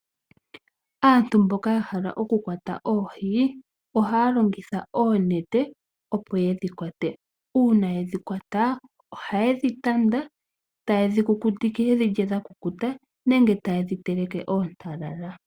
Aantu mboka yehole okukwata oohi ohaya longitha oonete opo yedhi kwate uuna yedhi kwata ohayedhi tanda tayedhi kukutike nenge tayedhi teleke oontalala.